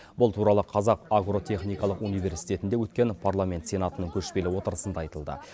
бұл туралы қазақ агротехникалық университетінде өткен парламент сенатының көшпелі отырысында айтылды